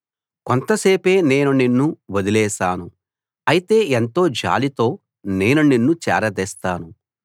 కొంతసేపే నేను నిన్ను వదిలేశాను అయితే ఎంతో జాలితో నేను నిన్ను చేరదీస్తాను